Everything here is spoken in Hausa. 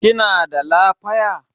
Kina da lafaya?